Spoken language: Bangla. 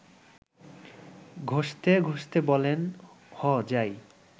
ঘসতে ঘসতে বলেন–হ যাই